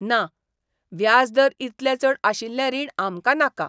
ना! व्याज दर इतले चड आशिल्लें रीण आमकां नाका.